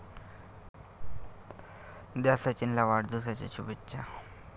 द्या सचिनला वाढदिवसाच्या शुभेच्छा!